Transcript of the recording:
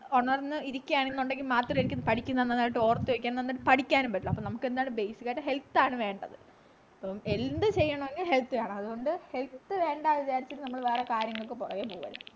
ഉണർന്നു ഇരിക്കുന്നതാണെങ്കിൽ മാത്രമേ പഠിക്കുന്നത് നന്നായിട്ടു ഓർത്തുവയ്ക്കാൻ നന്നായിട്ട് പഠിക്കാനും പറ്റുള്ളൂ അപ്പോ നമുക്ക് എന്തായാലും ബേസിസി basic ആയിട്ട് health ആണ് വേണ്ടത് എന്ത് ചെയ്യണെങ്കിലും health വേണം അതുകൊണ്ട് health വേണ്ടാന്ന് വിചാരിച്ചിട്ട് നമ്മൾ വേറെ കാര്യങ്ങൾക്ക് പൊറകേ പോകരുത്